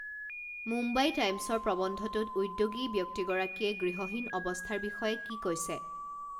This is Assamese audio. মুম্বাই টাইম্ছৰ প্ৰবন্ধটোত উদ্যোগী ব্যক্তিগৰাকীয়ে গৃহহীন অৱস্থাৰ বিষয়ে কি কৈছে